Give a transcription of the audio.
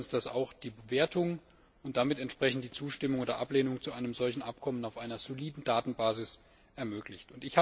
Ich denke, dass uns das auch die Bewertung und damit entsprechend die Zustimmung oder Ablehnung zu einem solchen Abkommen auf einer soliden Datenbasis ermöglicht.